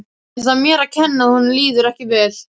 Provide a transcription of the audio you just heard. Er það mér að kenna að honum líður ekki vel?